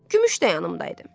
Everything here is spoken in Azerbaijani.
Gümüş də yanımdaydı.